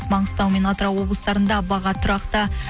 маңғыстау мен атырау облыстарында баға тұрақты